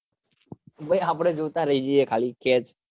ભાઈ આપડે જોતા રહી જઈએ ખાલી પેચ જીવન